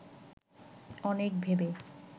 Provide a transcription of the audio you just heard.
অনেক ভেবে